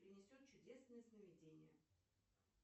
принесет чудесные сновидения